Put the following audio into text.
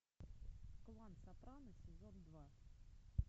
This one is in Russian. клан сопрано сезон два